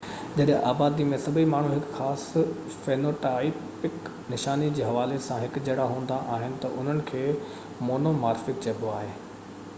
جڏهن آبادي ۾ سڀئي ماڻهو هڪ خاص فينوٽائپڪ نشاني جي حوالي سان هڪجهڙا هوندا آهن تہ انهن کي مونومارفڪ چئبو آهي